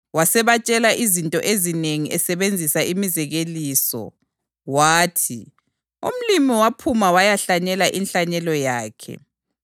Wasebatshela izinto ezinengi esebenzisa imizekeliso, wathi, “Umlimi waphuma wayahlanyela inhlanyelo yakhe.